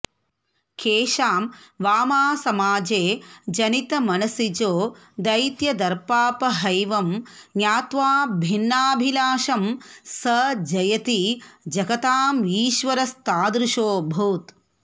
केषां वामासमाजे जनितमनसिजो दैत्यदर्पापहैवं ज्ञात्वा भिन्नाभिलाषं स जयति जगतामीश्वरस्तादृशोऽभूत्